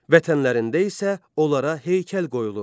Vətənlərində isə onlara heykəl qoyulurdu.